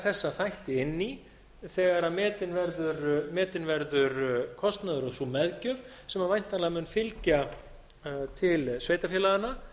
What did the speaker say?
þessa þætti inn í þegar metin verður kostnaðurinn og sú meðgjöf sem væntanlega mun fylgja til sveitarfélaganna